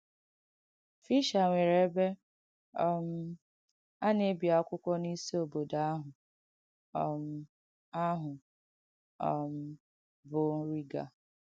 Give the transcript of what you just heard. Fìschēr nwērē ebe um a na-èbì àkwàkuọ̀ n’ìsì òbùdọ̀ àhụ̀, um àhụ̀, um bụ́ Rīgà.